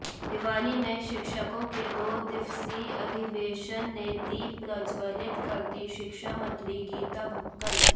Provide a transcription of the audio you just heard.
भिवानी में शिक्षकों के दो दिवसीय अधिवेशन ने दीप प्रज्ज्वलित करती शिक्षा मंत्री गीता भुक्कल